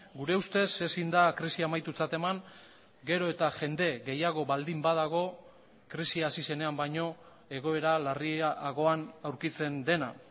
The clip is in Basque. gure ustez ezin da krisia amaitutzat eman gero eta jende gehiago baldin badago krisia hasi zenean baino egoera larriagoan aurkitzen dena